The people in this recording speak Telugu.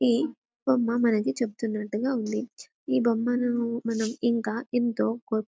ఈ బొమ్మ మనకు చెపుతున్నట్టుగా ఉంది ఈ బొమ్మలలో మనము ఇంకా ఎంతో కొత్త--